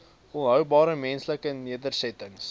volhoubare menslike nedersettings